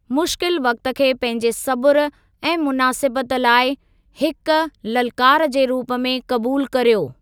मुश्किल वक़्ति खे पंहिंजे सबुर ऐं मुनासिबतु लाइ हिक ललकार जे रूप में क़बूल करियो।